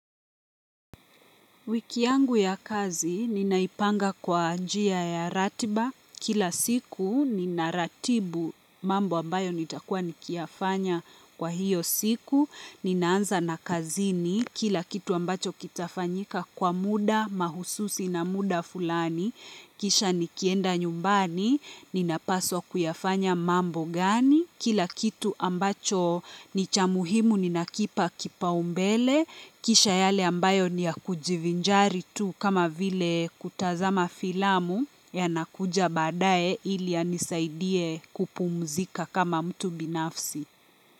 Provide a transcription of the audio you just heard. Wiki yangu ya kazi, ninaipanga kwa njia ya ratiba. Kila siku, ninaratibu mambo ambayo nitakuwa nikiyafanya kwa hiyo siku. Ninaanza na kazini, kila kitu ambacho kitafanyika kwa muda mahususi na muda fulani. Kisha nikienda nyumbani, ninapaswa kuyafanya mambo gani. Kila kitu ambacho ni cha muhimu ninakipa kipaumbele. Kisha yale ambayo ni ya kujivinjari tu kama vile kutazama filamu yanakuja baadaye ili yanisaidie kupumzika kama mtu binafsi.